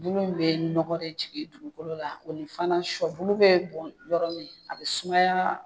Bulu in bɛ nɔgɔ de jigin dugukolo la o ni fana shɔbulu bɛ bɔn yɔrɔ min a bɛ sumaya.